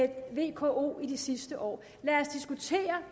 vko i de sidste år lad os diskutere